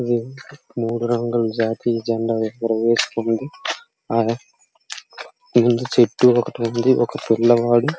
ఇక్కడ మూడు రంగుల జాతీయ జండా ఎగరవేస్తుంది ఆ ముందు చెట్టు ఒకటి ఉంది ఒక పిల్లవాడు --